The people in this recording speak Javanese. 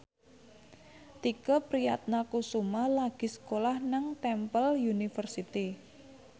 Tike Priatnakusuma lagi sekolah nang Temple University